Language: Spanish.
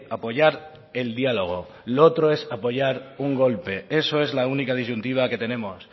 apoyar el diálogo lo otro es apoyar un golpe eso es la única disyuntiva que tenemos